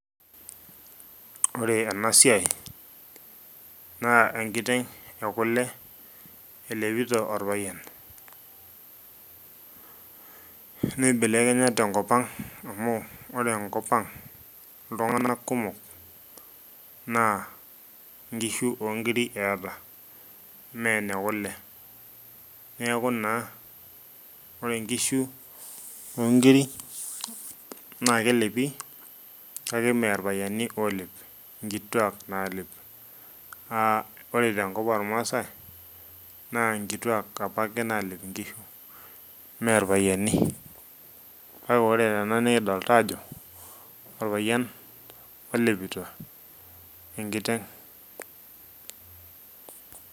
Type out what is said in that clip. ore ena siai, naa enkiteng ekule elepito orpayian, neibelekenya tenkop ang amu ore enkop ang iltunganak kumkok naa nkishu po nkiri eeeta mme ne kule, ore nkisu oo nkiri naa kelepi kake ime irpayiani oolep, inkituak naalep.aa ore tenkop oormaasae, naa nkituak apake naalep inkishu ime irpayiani. kakea ore tena nikidolita aajo orpayian olepito enkiteng.